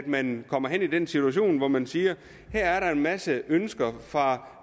man kommer i den situation hvor man siger her er der en masse ønsker fra